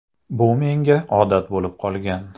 Bu menga odat bo‘lib qolgan.